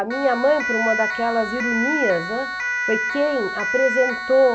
A minha mãe, por uma daquelas ironias, né, foi quem apresentou